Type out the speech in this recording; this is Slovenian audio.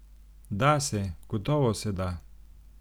Da se, gotovo se da.